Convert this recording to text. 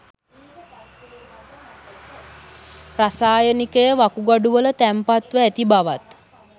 රසායනිකය වකුගඩුවල තැන්පත්ව ඇති බවත්